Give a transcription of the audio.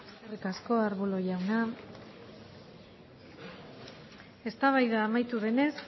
eskerrik asko arbulo jauna eztabaida amaitu denez